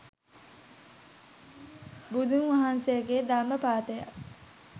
බුදුන් වහන්සේගේ ධර්ම පාඨයක්